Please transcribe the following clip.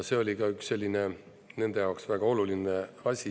See oli ka üks selline nende jaoks väga oluline asi.